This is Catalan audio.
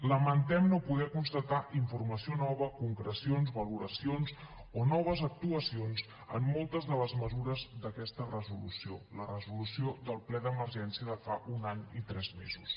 lamentem no poder constatar informació nova concrecions valoracions o noves actuacions en moltes de les mesures d’aquest resolució la resolució del ple d’emergència de fa un any i tres mesos